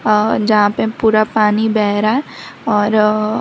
अ जहां पे पूरा पानी बह रहा है और--